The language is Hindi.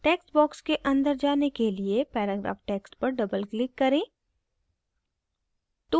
text box के अंदर जाने के लिए paragraph text पर double click करें